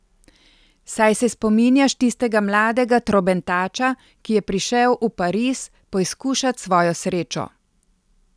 Saj se spominjaš tistega mladega trobentača, ki je prišel v Pariz poizkušat svojo srečo?